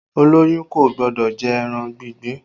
Olóyún kò gbọ́dọ̀ jẹ ẹran ìgbín